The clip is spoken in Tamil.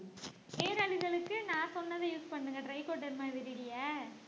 நான் சொன்னதை use பண்ணுங்க trichoderma vidride